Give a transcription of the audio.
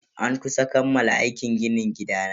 An kusa kammala aikin ginin gidana.